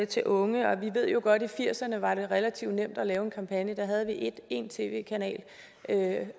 til unge vi ved jo godt i firserne var det relativt nemt at lave en kampagne der havde vi én tv kanal